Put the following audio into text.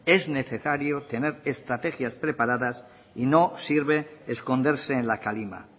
es necesario tener estrategias preparadas y no sirve esconderse en la calima